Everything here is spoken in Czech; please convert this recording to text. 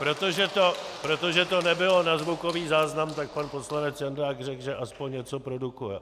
Protože to nebylo na zvukový záznam, tak pan poslanec Jandák řekl, že aspoň něco produkuje.